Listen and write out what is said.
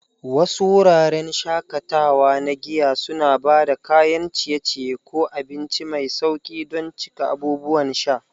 Wasu wuraren shakatawa na giya suna ba da kayan ciye-ciye ko abinci mai sauƙi don cika abubuwan sha.